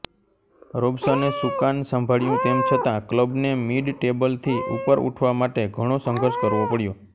રોબસને સુકાન સંભાળ્યું તેમ છતાં ક્લબને મિડટેબલથી ઉપર ઉઠવા માટે ઘણો સંઘર્ષ કરવો પડ્યો